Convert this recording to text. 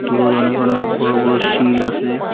অনেক অনেক বড়ো বড়ো শীল আছে।